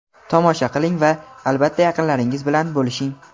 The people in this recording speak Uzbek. Tomosha qiling va, albatta, yaqinlaringiz bilan bo‘lishing!.